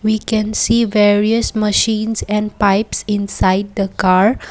we can see various machines and pipes inside the car.